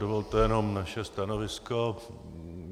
Dovolte jenom naše stanovisko.